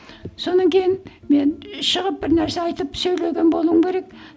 содан кейін мен шығып бірнәрсе айтып сөйлеген болуым керек